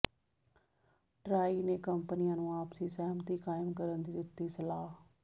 try ਨੇ ਕੰਪਨੀਆਂ ਨੂੰ ਆਪਸੀ ਸਹਿਮਤੀ ਕਾਇਮ ਕਰਨ ਦੀ ਦਿੱਤੀ ਸਲਾਹ